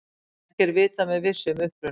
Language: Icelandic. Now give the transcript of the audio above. Ekki er vitað með vissu um upprunann.